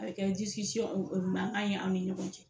A bɛ kɛ mankan ye aw ni ɲɔgɔn cɛ